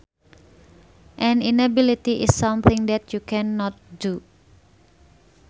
An inability is something that you can not do